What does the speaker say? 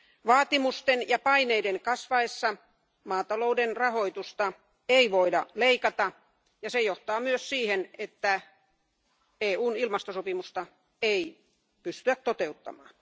Vaatimusten ja paineiden kasvaessa maatalouden rahoitusta ei voida leikata ja se johtaa myös siihen, että EUn ilmastosopimusta ei pystyä toteuttamaan.